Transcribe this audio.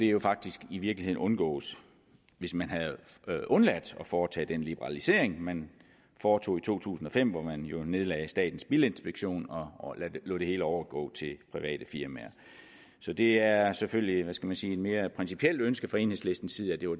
jo faktisk i virkeligheden undgået hvis man havde undladt at foretage den liberalisering man foretog i to tusind og fem hvor man jo nedlagde statens bilinspektion og og lod det hele overgå til private firmaer så det er selvfølgelig hvad skal man sige et mere principielt ønske fra enhedslistens side at det var